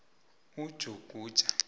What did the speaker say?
ujuguja